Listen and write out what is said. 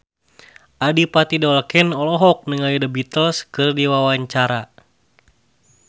Adipati Dolken olohok ningali The Beatles keur diwawancara